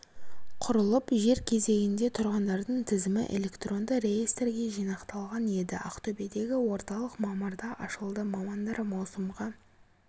құрылып жер кезегінде тұрғандардың тізімі электронды реестрге жинақталған еді ақтөбедегі орталық мамырда ашылды мамандар маусымға